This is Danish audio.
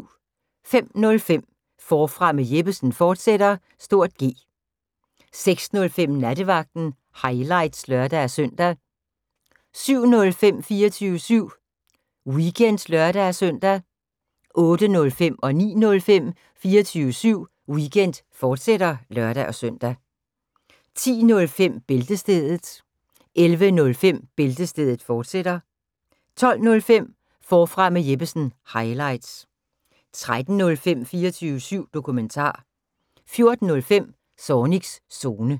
05:05: Forfra med Jeppesen fortsat (G) 06:05: Nattevagten – highlights (lør-søn) 07:05: 24syv Weekend (lør-søn) 08:05: 24syv Weekend, fortsat (lør-søn) 09:05: 24syv Weekend, fortsat (lør-søn) 10:05: Bæltestedet 11:05: Bæltestedet, fortsat 12:05: Forfra med Jeppesen – highlights 13:05: 24syv Dokumentar 14:05: Zornigs Zone